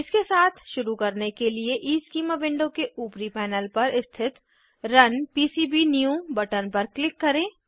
इसके साथ शुरू करने के लिए ईस्कीमा विंडो के ऊपरी पैनल पर स्थित रुन पीसीबीन्यू बटन पर क्लिक करें